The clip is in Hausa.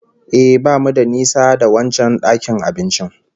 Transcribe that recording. Ehh, bamu da nisa da wancan dakin abincin